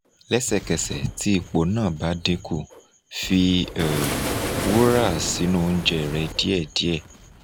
lẹ́sẹ̀kẹsẹ̀ ti ipo na ba dinku fi um wura sinu ounjẹ rẹ̀ diẹ̀ diẹ̀